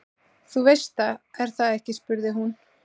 Þú veist það, er það ekki spurði hún.